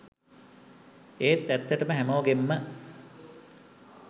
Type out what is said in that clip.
ඒත් ඇත්තටම හැමෝගෙන්ම.